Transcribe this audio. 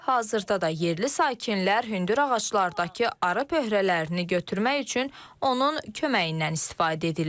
Hazırda da yerli sakinlər hündür ağaclardakı arı pöhələrin götürmək üçün onun köməyindən istifadə edirlər.